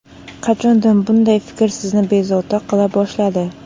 Qachondan bunday fikr sizni bezovta qila boshladi?